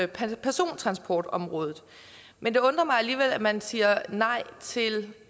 persontransportområdet men det undrer mig alligevel at man siger nej til